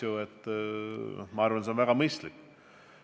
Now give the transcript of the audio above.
Ma arvan, et see oleks väga mõistlik.